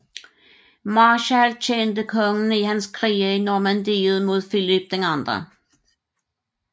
Marshal tjente kongen i hans krige i Normandiet mod Filip 2